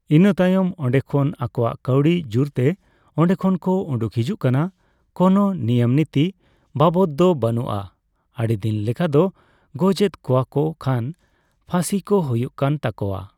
ᱤᱱᱟᱹᱛᱟᱭᱚᱢ ᱚᱱᱰᱮ ᱠᱷᱚᱱ ᱟᱠᱚᱣᱟᱜ ᱠᱟᱣᱰᱤ ᱡᱳᱨᱛᱮ ᱚᱱᱰᱮ ᱠᱷᱚᱱ ᱠᱚ ᱩᱰᱩᱠ ᱦᱤᱡᱩᱜ ᱠᱟᱱᱟ ᱠᱳᱱᱳ ᱱᱤᱭᱟᱹᱢ ᱱᱤᱛᱤ ᱵᱟᱵᱚᱫ ᱫᱚ ᱵᱟᱹᱱᱩᱜᱼᱟ ᱟᱹᱰᱤ ᱫᱤᱱ ᱞᱮᱠᱟ ᱫᱚ ᱜᱚᱡ ᱮᱫ ᱠᱚᱣᱟ ᱠᱚ ᱠᱷᱟᱱ ᱯᱷᱟᱥᱤ ᱠᱚ ᱦᱩᱭᱩᱜ ᱠᱟᱱ ᱛᱟᱠᱚᱣᱟ ᱾